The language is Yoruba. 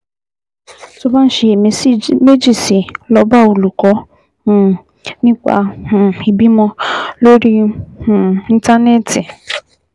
Tó o bá ń ṣiyèméjì sí i, lọ bá olùkọ́ um nípa um ìbímọ lórí um Íńtánẹ́ẹ̀tì